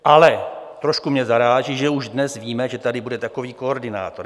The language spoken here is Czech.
Ale trošku mě zaráží, že už dnes víme, že tady bude takový koordinátor.